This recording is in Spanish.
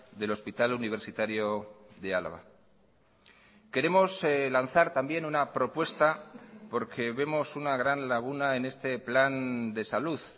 del hospital universitario de álava queremos lanzar también una propuesta porque vemos una gran laguna en este plan de salud